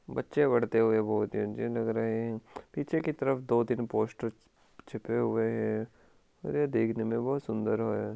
बच्चे पढ़ते हुए बहुत ही लग रहे है पीछे की तरफ दो तीन पोस्टर चिपे हुए है और ये देखने में बहुत सुन्दर है।